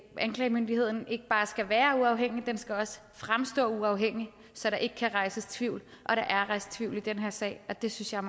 anklagemyndigheden ikke bare skal være uafhængig den skal også fremstå uafhængig så der ikke kan rejses tvivl og der er rejst tvivl i den her sag og det synes jeg